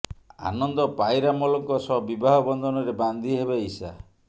ଆନନ୍ଦ ପାଇରାମଲଙ୍କ ସହ ବିବାହ ବନ୍ଧନରେ ବାନ୍ଧି ହେବେ ଇଶା